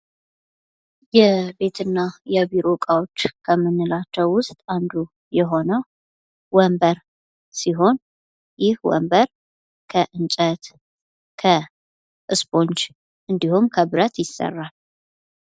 የቤትና የቢሮ እቃዎች ከምንላቸው ውስጥ አንዱ የሆነው ወንበር ሲሆን ይህ ወንበር ከእንጨት፥ ከስቦንጅ፥ እንዲሁም ከብረት ይሰራል።